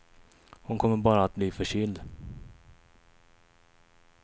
Hon kommer bara att bli förkyld.